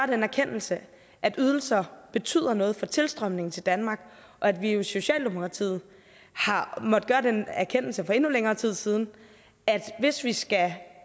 den erkendelse at ydelser betyder noget for tilstrømningen til danmark og at vi i socialdemokratiet har måttet gøre den erkendelse for endnu længere tid siden at hvis vi skal